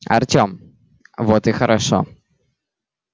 артём вот и хорошо